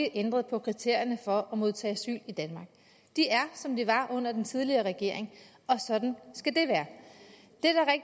ændret på kriterierne for at modtage asyl i danmark de er som de var under den tidligere regering og sådan skal det være